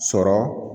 Sɔrɔ